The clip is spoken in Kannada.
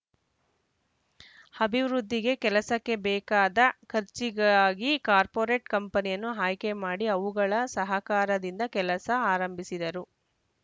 ಅಭಿವೃದ್ಧಿಗೆ ಕೆಲಸಕ್ಕೆ ಬೇಕಾದ ಖರ್ಚಿಗಾಗಿ ಕಾರ್ಪೊರೇಟ್‌ ಕಂಪನಿಯನ್ನು ಆಯ್ಕೆ ಮಾಡಿ ಅವುಗಳ ಸಹಕಾರದಿಂದ ಕೆಲಸ ಆರಂಭಿಸಿದರು